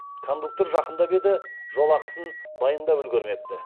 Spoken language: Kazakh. кондуктор жақындап еді жолақысын дайындап үлгермепті